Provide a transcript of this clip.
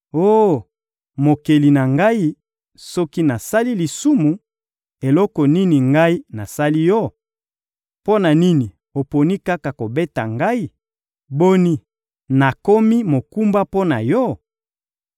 Oh Mokeli na ngai, soki nasali lisumu, eloko nini ngai nasali Yo? Mpo na nini oponi kaka kobeta ngai? Boni, nakomi mokumba mpo na Yo?